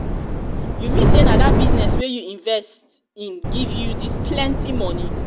you mean say na dat business wey you invest in give you dis plenty money.